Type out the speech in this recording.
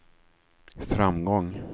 framgång